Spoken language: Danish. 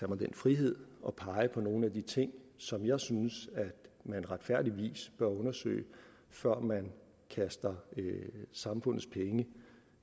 mig den frihed at pege på nogle af de ting som jeg synes at man retfærdigvis bør undersøge før man kaster samfundets penge